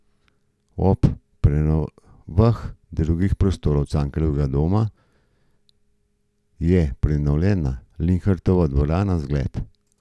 Ob prenovah drugih prostorov Cankarjevega doma je prenovljena Linhartova dvorana zgled.